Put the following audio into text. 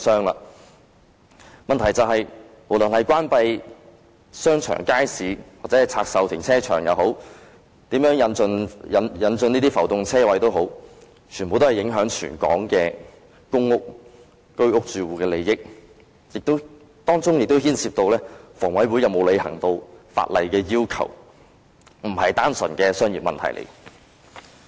問題的癥結在於，不論是關閉商場或街市，或拆售停車場，或如何引進浮動車位，全部都影響全港公屋、居屋住戶的利益，當中亦牽涉香港房屋委員會有否履行法例要求，這並非單純的商業問題。